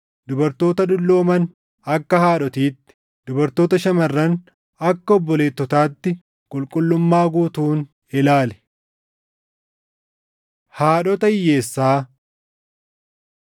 dubartoota dullooman akka haadhotiitti, dubartoota shamarran akka obboleettotaatti qulqullummaa guutuun ilaali. Haadhota Hiyyeessaa